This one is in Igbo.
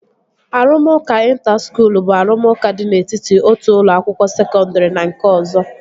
Arụmụka ịnta skuul bụ arụmụka dị n'etiti otu ụlọ akwụkwọ sekọndri na nke ọzọ